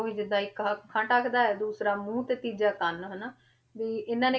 ਵੀ ਜਿੱਦਾਂ ਇੱਕ ਅੱਖਾਂ ਢੱਕਦਾ ਹੈ, ਦੂਸਰਾ ਮੂੰਹ ਤੇ ਤੀਜਾ ਕੰਨ ਹਨਾ, ਵੀ ਇਹਨਾਂ ਨੇ